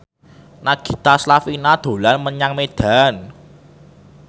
Nagita Slavina dolan menyang Medan